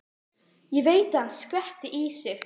Ég veit að hann skvettir í sig.